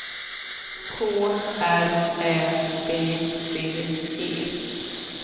K R Ä V D E